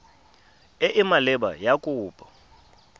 e e maleba ya kopo